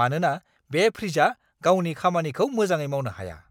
मानोना बे फ्रिजआ गावनि खामानिखौ मोजाङै मावनो हाया!